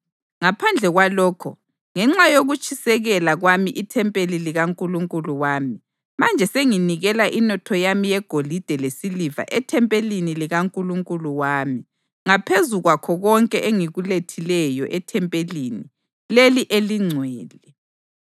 Ngaphandle kwalokho, ngenxa yokutshisekela kwami ithempeli likaNkulunkulu wami, manje senginikela inotho yami yegolide lesiliva ethempelini likaNkulunkulu wami ngaphezu kwakho konke engikulethileyo ethempelini leli elingcwele: